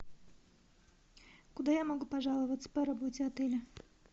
куда я могу пожаловаться по работе отеля